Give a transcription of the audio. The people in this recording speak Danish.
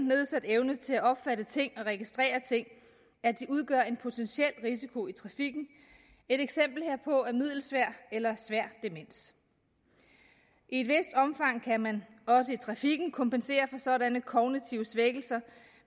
nedsat evne til at opfatte ting og registrere ting at de udgør en potentiel risiko i trafikken et eksempel herpå er middelsvær eller svær demens i et vist omfang kan man også i trafikken kompensere for sådanne kognitive svækkelser